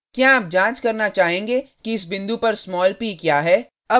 क्या आप जांच करना चाहेंगे कि इस बिंदु पर स्मॉल p क्या है